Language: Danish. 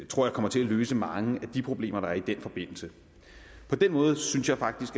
tror jeg kommer til at løse mange af de problemer der har været i den forbindelse på den måde synes jeg faktisk